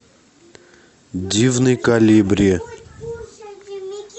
дивный колибри